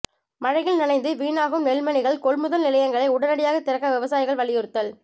மழையில் நனைந்து வீணாகும் நெல்மணிகள் கொள்முதல் நிலையங்களை உடனடியாக திறக்க விவசாயிகள் வலியுறுத்தல்